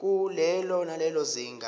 kulelo nalelo zinga